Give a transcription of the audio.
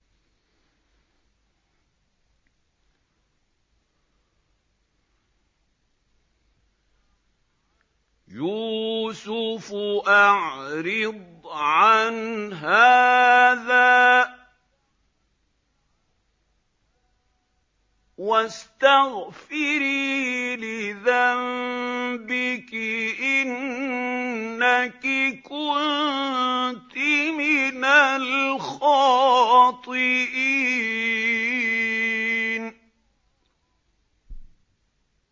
يُوسُفُ أَعْرِضْ عَنْ هَٰذَا ۚ وَاسْتَغْفِرِي لِذَنبِكِ ۖ إِنَّكِ كُنتِ مِنَ الْخَاطِئِينَ